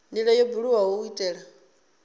ndila yo buliwaho u itela